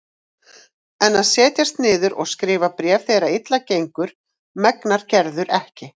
En að setjast niður og skrifa bréf þegar illa gengur megnar Gerður ekki.